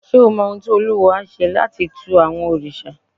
Ṣé o mọ ohun tí olúwo á ṣe láti tu àwọn òrìṣà?